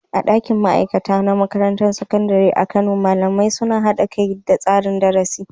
A ɗakin ma'aikata na Makarantar Sakandare ta Kano, malamai suna haɗa kai da tsara darasi